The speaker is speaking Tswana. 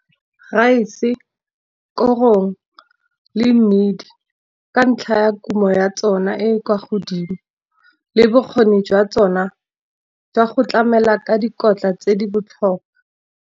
Rice, korong le mmidi ka ntlha ya kumo ya tsona e e kwa godimo. Le bokgoni jwa tsona jwa go tlamela ka dikotla tse di botlhokwa.